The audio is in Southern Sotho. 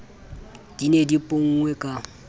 di ne di ponngwe ka